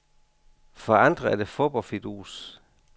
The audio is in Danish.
For andre er det fup og fidus.